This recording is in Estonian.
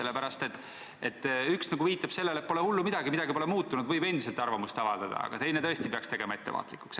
Üks võimalus viitab nagu sellele, et pole hullu midagi, midagi pole muutunud, võib endiselt arvamust avaldada, aga teine peaks tõesti tegema ettevaatlikuks.